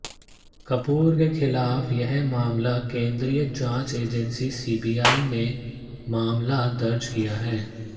कपूर के खिलाफ यह मामला केंद्रीय जांच एजेंसी सीबीआई ने मामला दर्ज किया है